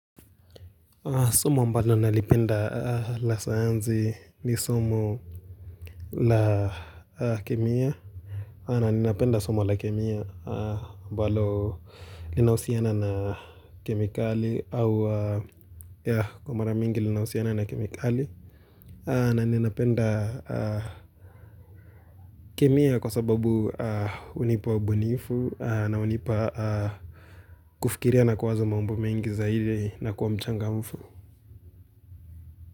Somo ambalo nalipenda la sayansi ni somo na kemia na nina penda somo la kemia mbalo linahusiana na kemikali au ya kwa mara mingi linausiana na kemikali na nina penda kemia kwa sababu unipa ubinifu na unipa kufikiria na kuwaza mambo mingi saidi na kuwa mchanga mfu.